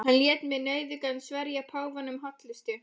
Hann lét mig nauðugan sverja páfanum hollustu.